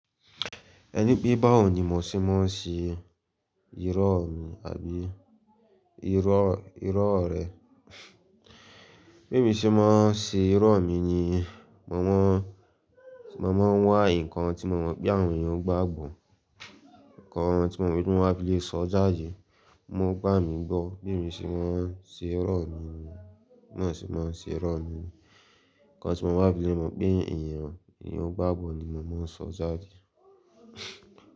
Ẹni pé bá ò ní mọ́ ṣé mọ́ ń ṣe irọ́ mi àbí irọ́, irọ́ rẹ̀. Bí mi ṣe máa ń ṣe irọ́ mi ni, mo má, mo máa ń wa nǹkan tí mo mọ̀ pé àwọn èèyàn gbàgbò, nǹkan tí mo mọ̀ wípé mo máa le sọ jáde, mo gbà mí gbọ́. Bí émi ṣe máa ń ṣe irọ́ mi ni, náà sì máa ń ṣe irọ́ mi ni. Nǹkan tí mo bá fi lẹ́mọ̀ pé èèyàn ni ó gbàgbò ni mo máa ń sọ jáde.